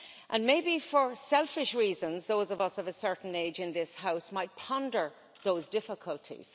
And maybe for selfish reasons those of us of a certain age in this House might ponder those difficulties.